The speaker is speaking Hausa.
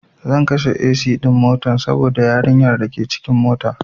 Zan kashe AC ɗin motan saboda yarin yar dake cikin mota